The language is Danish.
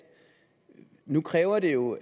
nu kræver det jo